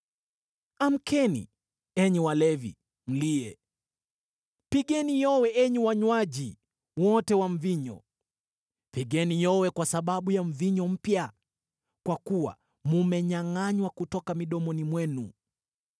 Amkeni, enyi walevi, mlie! Pigeni yowe enyi wanywaji wote wa mvinyo, pigeni yowe kwa sababu ya mvinyo mpya, kwa kuwa mmenyangʼanywa kutoka midomoni mwenu.